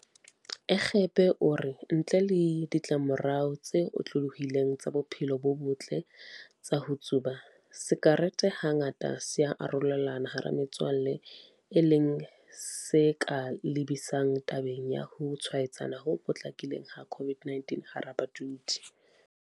Egbe o re ntle le ditlamorao tse otlolohileng tsa bophelo bo botle tsa ho tsuba, sakerete hangata se ya arolelanwa hara metswalle e leng se ka lebisang tabeng ya ho tshwaetsana ho potlakileng ha COVID-19 hara badudi.